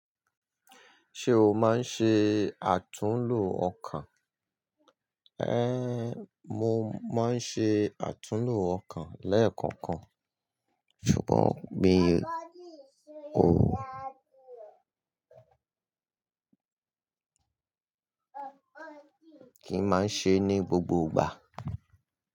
Ṣé o máa ń ṣe àtúnlo ọkàn? Ẹ́n, mo máa ń ṣe àtúnlo ọkàn lẹ́ẹ̀kọ̀kan, ṣùgbọ́n mi ò kí máa ń ṣe ní gbogbo ìgbà.